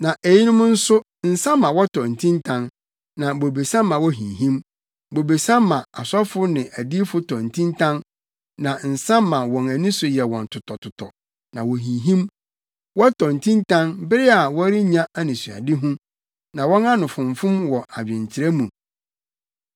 Na eyinom nso nsa ma wɔtɔ ntintan na bobesa ma wohinhim; bobesa ma asɔfo ne adiyifo tɔ ntintan na nsa ma wɔn ani so yɛ wɔn totɔtotɔ; na wohinhim wɔtɔ ntintan bere a wɔrenya anisoadehu, na wɔn ano fomfom wɔ adwenkyerɛ mu.